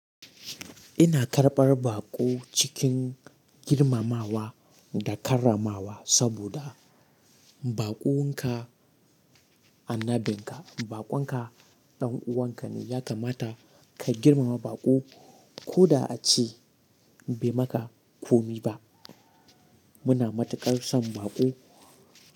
Ina karɓar baƙo cikin girmamawa da karramawa saboda baƙon ka annabin ka, baƙon ka ɗan'uwan ka ne. Yakamata ka girmama baƙo koda a ce bai maka komi ba. Muna mata ƙarsan baƙo.